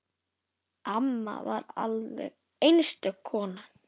Amma var alveg einstök kona.